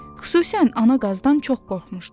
Xüsusən ana qazdan çox qorxmuşdu.